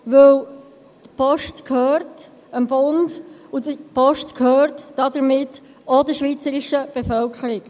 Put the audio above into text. Denn die Post gehört dem Bund, und die Post gehört damit auch der schweizerischen Bevölkerung.